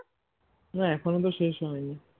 না এখনো তো শেষ হয়নি